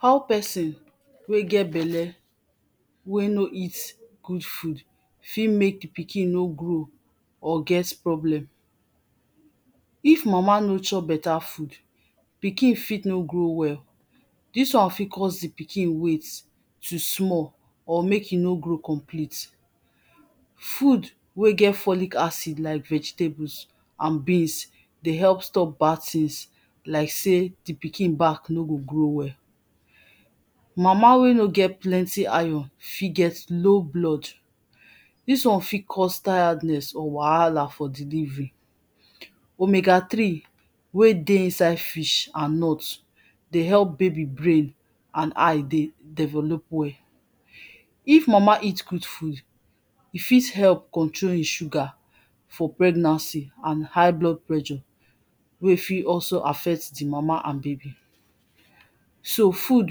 How person wey get belle wey no eat good food fit mek pikin no grow or get problem if mama no chop better food pikin fit no grow well this one fit cause the pikin weight to small or make e no grow complete food wey get folic acid like vegetables and beans de help stop bad things like say the pikin back no go grow well mama wey no get plenty iron fit get low blood one fit cause tiredness or wahala for delivery omega three wey de inside fish and nut de help baby brain and eye de develop well if mama eat good food r fit help control in sugar for pregnancy and high blood pressure wey fit also affect the mama and baby so food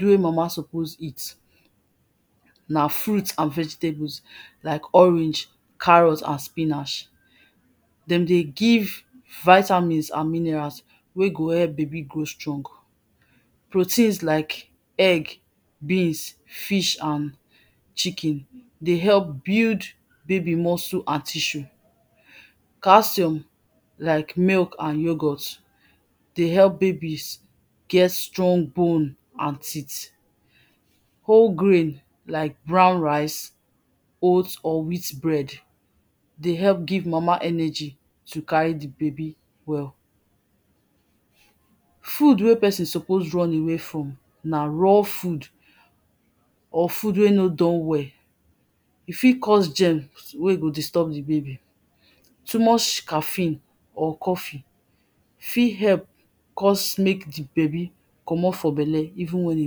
wey mama suppose eat na frits and vegetables like orange carrot and spinach dem de give vitamins and minerals wey go help baby grow strong proteins like egg beans fish and chicken de help nuild baby muscle an tissue calcium like milk and yogurt de help babies get strong bone and teeth whole grain like brown rice oat or wheat bread de help give mama energy to carry the baby well food wey person suppose run away from na raw food or food wey no done well e fit cause germs ey go disturb the baby too much caffeine or coffee fit help help cause make the baby commot for belle even when e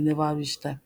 never reach time